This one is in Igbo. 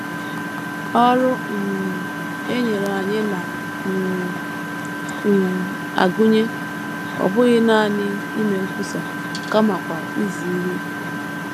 Ọrụ um e nyere anyị na um - um agụnye ọ bụghị nanị ime nkwusa kamakwa izi ihe.